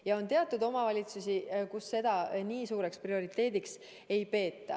Ja on selliseid omavalitsusi, kus seda nii suureks prioriteediks ei peeta.